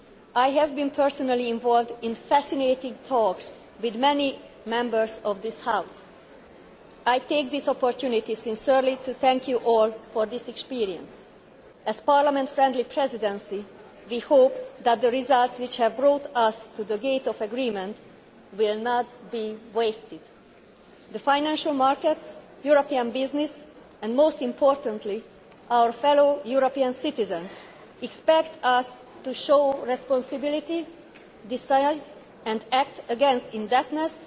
I have been personally involved in fascinating talks with many members of this House. I take this opportunity to thank you all sincerely for this experience. As a Parliament friendly Presidency, we hope that the results which have brought us to the verge of agreement will not be wasted. The financial markets, European business and, most importantly, our fellow European citizens, expect us to show responsibility and decide and act against indebtedness